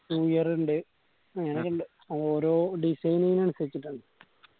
one year ഇണ്ട് അങ്ങനൊക്കെ ഇണ്ട് അത് ഓരോ designing അൻസരിച്ചിട്ടാണ്